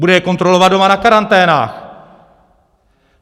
Bude je kontrolovat doma na karanténách!